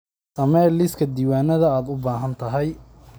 Samee liiska diiwaanada aad u baahan tahay.